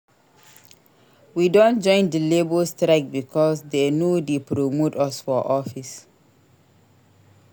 We don join di labour strike because dey no dey promote us for office.